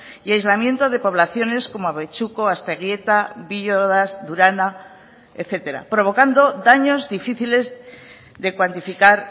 y aislamiento de poblaciones como abetxuko asteguieta villodas durana etcétera provocando daños difíciles de cuantificar